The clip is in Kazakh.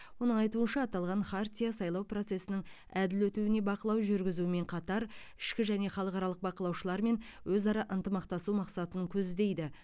оның айтуынша аталған хартия сайлау процесінің әділ өтуіне бақылау жүргізумен қатар ішкі және халықаралық бақылаушылармен өзара ынтымақтасу мақсатын көздейді